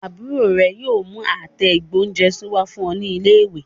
Àbúrò rẹ yóò mú àtẹ ìgbóhúnjẹsí wá fún ẹ ní ilé ìwé